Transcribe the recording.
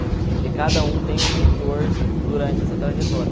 Porque cada um tem um mentor durante essa trajetória.